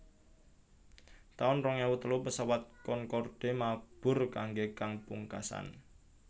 taun rong ewu telu Pesawat Concorde mabur kanggé kang pungkasan